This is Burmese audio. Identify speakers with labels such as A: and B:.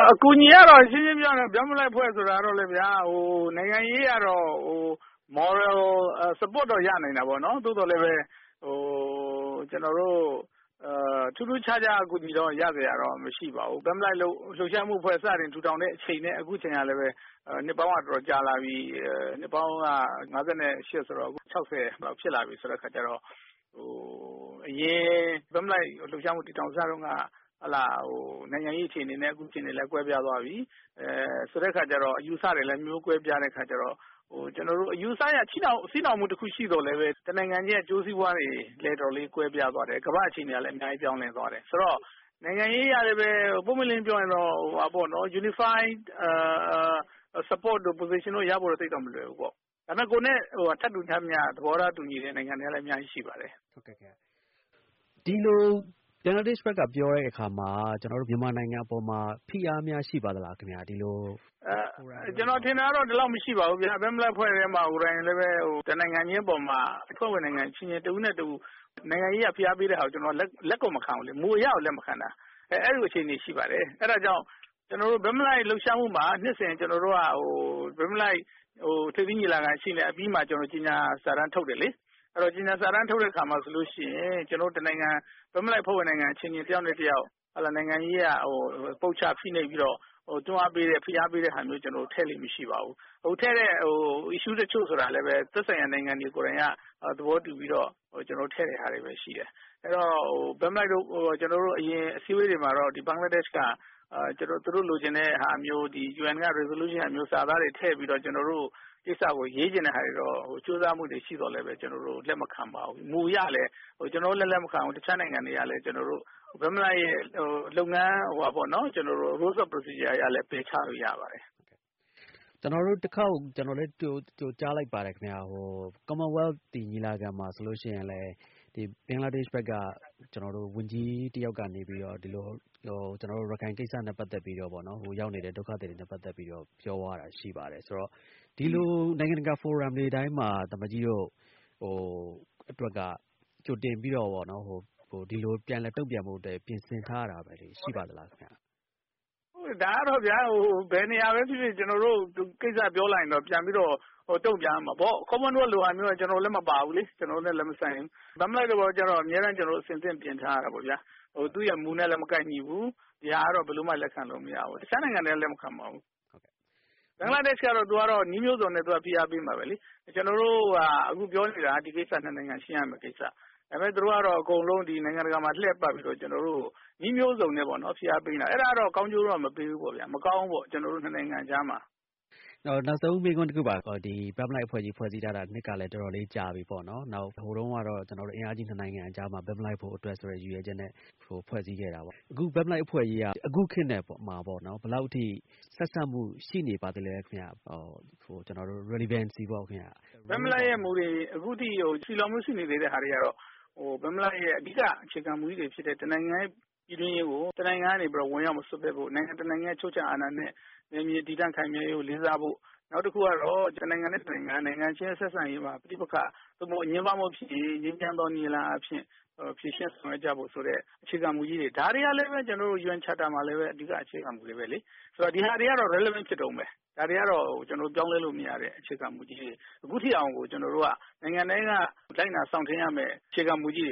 A: အကူအညီကတော့ ရှင်းရှင်းပြောရင်တော့ ဘက်မလိုက်အဖွဲ့ဆိုတာကတော့ နိုင်ငံရေးအရတော့ moral support တော့ ရနိုင်တာပေါေ့နာ်။ သို့သော် ထူးထူးခြားခြားအကူအညီတော့ ရစရာတော့ မရှိပါဘူး။ ဘက်မလိုက်အဖွဲ့စတင်တည်ထောင်ချိန်ကလည်း နှစ်ပေါင်းတော်တော်ကြာလာပြီ နှစ်ပေါင်း ၅၈ ဆိုတော့ ၆၀ ဖြစ်လာပြီ အရင် ဘက်မလိုက်အဖွဲ့ စတင်တည်ထောင်စချိန်နဲ့ အခုအချိန်ကလည်း ကွဲပြားသွားပြီ။ ဆိုတဲ့အခါကျတော့ အယူအဆတွေလည်း အမျိုးမျိုးကွဲပြားတဲ့အခါကျတော့ အယူအဆအရ အမျိုးမျိုး ချည်နှောင်မူရှိသော်လည်း တနိုင်ငံရဲ့ အကျိူးစီးပွားတွေလည်း ကွဲပြားသွားတယ်။ ကမ္ဘာ့ အခြေအနေကလည်း အများကြီး ပြောင်းလဲသွားတယ်။ ဆိုတော့ နိုင်ငံရေးအရလည်း ပွင့်ပွင့်လင်းလင်းပြောရင်တော့ unified position တု့ိရဖို့တော့ မလွယ်ဘူး။ ဒါပေမယ့် ကိုယ်နဲ့ ထပ်တူထပ်မျှ သဘောထားတူညီတဲ့ နိုင်ငံတွေလည်း အများကြီးရှိပါတယ်။
B: ဒီလို ဘင်္ဂလားဒေ့ရှ်က ပြောတဲ့အခါမှာ ကျနော်တို့ မြန်မာနိုင်ငံအပေါ်မှာ ဖိအားများရှိပါသလား။
A: ကျနော်ထင်တာကတော့ ဒီလောက်မရှိပါဘူး ဘက်မလိုက်အဖွဲ့ထဲမှာကိုယ်ပဲ တနိုင်ငံချင်းအပေါ်မှာ အဖွဲ့ဝင်နိုင်ငံအချင်းချင်း တဦးနဲ့တဦး နိုင်ငံရေးအရ ဖိအားပေးတာကို လက်မခံဘူး။ မူအရကို လက်မခံတာ အဲလိုအခြေအနေရှိပါတယ်။ အဲဒါကြောင့် ကျနော်တို့ ဘက်မလိုက် လှုပ်ရှားမှုမှာ နှစ်စဉ် ဘက်မလိုက် ထိပ်သီးညီလာခံ အပြီးမှာ ကျနော်တို့ ကြေညာစာတန်းထုတ်တယ်လေ။ ကြေညာစာတန်းထုတ်တဲ့အခါမှာ တနိုင်ငံ၊ ဘက်မလိုက်အဖွဲ့ဝင်နိုင်ငံအချင်းချင်း တယောက်နဲ့ တယောက် နိုင်ငံရေးအရ ပုတ်ချ ဖိအားပေးတာမျိုး ထည့်လေ့မရှိပါဘူး။ ထည့်တဲ့ Issue တချို့ဆိုတာလည်း သက်နိုင်ရာနိုင်ငံတွေက သဘောတူပြီးတော့ ထည့်တာတွေပဲ ရှိတယ်။ ဘက်မလိုက်အဖွဲ့ အရင်အစည်းအဝေးတွေမှာက ဘင်္ဂလားဒေ့ရှ်က သူတို့လိုချင်တာမျိုး UN resolution က စာသားတွေထည့်ပြီးတော့ ရေးချင်တဲ့ဟာတွေ ကြိုးစားမှုတွေ ရှိသော်လည်း ကျနော်တို့ လက်မခံပါဘူး။ မူအရလည်း ကျနော်တို့လည်း လက်မခံဘူး တခြားနိုင်ငံတွေက ကျနော်တို့ ဘက်မလိုက် လုပ်ငန်း Role of procedure အရလည်း ပယ်ချလို့ရပါတယ်။
B: ကျနော်လည်း တခေါက်ကြားလိုက်ပါတယ် commonwealth ညီလာခံမှာ ဘင်္ဂလားဒေ့ရှ် ဘက်က ဝန်ကြီးတယောက်က ရခိုင်ကိစ္စ၊ ဟိုရောက်နေတဲ့ ဒုက္ခသည်တွေ နဲ့ ပတ်သက်ပြီးတော့ ပြောသွားတာရှိပါတယ်။ ဆိုတော့ ဒီလို နိုင်ငံတကာ forum တွေတိုင်းမှာ သံအမတ်ကြီးတို့အတွက် ကြိုတင်ပြီး တုန့်ပြန်ဖို့ ပြင်ဆင်ထားရတာ ရှိပါသလား။
A: ဒါကတော့ ဘယ်နေရာပဲဖြစ်ဖြစ် ကျနော်တို့ ကိစ္စပြောလိုက်ရင်တော့ ပြန်ပြီး တုံ့ပြန်ရမှာပေါ့။ commonwealth လိုမျိုးက ကျနော်တို့လည်းမပါဘူး ကျနော်တို့နဲ့လည်း မဆိုင်ဘူးလေ။ ဘက်မလိုက် လိုမျိုးကျတော့ အမြဲတမ်း အဆင်သင့် ပြင်ထားရတာပေါ့ဗျာ။ သူ့မူနဲ့လည်း မကိုက်ညီဘူး။ ဒါကတော့ ဘယ်လိုမှ လက်ခံလို့မရဘူး။ တခြားနိုင်ငံတွေကလည်း လက်မခံပါဘူး။ ဘင်္ဂလားဒေ့ရှ် ဘက်ကတော့ နည်းမျိုးစုံနဲ့ ဖိအားပေးမှာပဲလေ။ ကျနော်တို့ အခုပြောနေတာက ဒီကိစ္စက မြန်မြန်ရှင်းရမယ့်ကိစ္စ ဒါပေမယ့် သူတို့ကတော့ နိုင်ငံတကာမှာ လှည့်ပတ်ပြီးတော့ နည်းမျိုးစုံနဲ့ ဖိအားပေးနေတာ အဲဒါကတော့ ကောင်းကျိုးတော့ မပေးဘူးပေါ့ဗျာ။ မကောင်းဘူးပေါ့ ကျနော်တို့ ၂ နိုင်ငံကြားမှာ။
B: ဘက်မလိုက်အဖွဲ့ ဖွဲ့စည်းထားတာ နှစ်ကလည်း တေ်ာတော်လေး ကြာပြီပေ့ါနော်။ ဟိုတုန်းကတော့ အင်အားကြီး ၂ နိုင်ငံကြားမှာ ဘက်မလိုက်ဖို့ ဆိုတဲ့ ရည်ရွယ်ချက်နဲ့ ဖွဲ့စည်းခဲ့တယ် ။ အခု ဘက်မလိုက်အဖွဲ့ကြီးက အခုခေတ်နဲ့ ဘယ်လောက်အထိ ဆက်စပ်မှု ရှိနေပါသေးသလဲခင်ဗျ။ relevancy ပေါ့ ခင်ဗျ။
A: ဘက်မလိုက်ရဲ့မူတွေ အခုရှိနေသေးတာကတော့ ဘက်မလိုက်ရဲ့ အဓိက အခြေခံမူတွေဖြစ်တဲ့ တနိုင်ငံပြည်တွင်းရေးကို တနိုင်ငံကနေ ဝင်ရောက်ပြီးတော့ မစွက်ဖက်ဖို့ ၊ နိုင်ငံတနိုင်ငံရဲ့ အချုပ်အခြာအာဏာနဲ့ နယ်မြေ တည်တံ့ခိုင်မြဲရေးကို လေးစားဖို့၊ နောက်တခုကတော့ တနိုင်ငံနဲ့ တနိုင်ငံ ဆက်ဆံရေး မှာ ပဋိပက္ခအငြင်းပွားမှု ဖြစ်ရင် ငြိမ်းချမ်းသောနည်းလမ်းအားဖြင့် ဖြေရှင်းဆောင်ရွက်ကြဖို့ဆိုတဲ့ အခြေခံမူတွေ ဒါတွေကလည်း UN charter မှာလည်း အဓိက မူတွေပဲလေ။ ဆိုတော့ ဒါတွေကတော့ relevant ဖြစ်တုန်းပဲ ဒါတွေက ပြောင်းလဲလို့မရတဲ့ အခြေခံမူတွေ ။ အခုအထိကျနေ်ာတို့က နိုင်ငံအတွင်း လိုက်နာစောင့်ထိန်းရမယ့် အခြေခံ မူကြီး